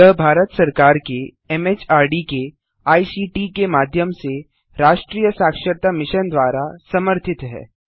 यह भारत सरकार के एमएचआरडी के आईसीटी के माध्यम से राष्ट्रीय साक्षरता मिशन द्वारा समर्थित है